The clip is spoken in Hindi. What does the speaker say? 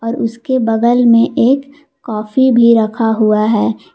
और उसके बगल में एक कॉफी भी रखा हुआ है।